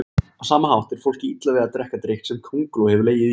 Á sama hátt er fólki illa við að drekka drykk sem könguló hefur legið í.